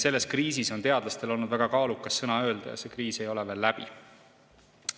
Selles kriisis on teadlastel olnud väga kaalukas sõna öelda ja see kriis ei ole veel läbi.